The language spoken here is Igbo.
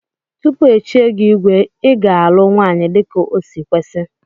Tupu echie gi igwe iga alụ nwanyi dika osi kwesi.